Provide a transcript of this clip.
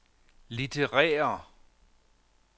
litterære